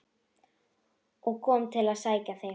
og kom til að sækja þig.